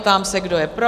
Ptám se, kdo je pro?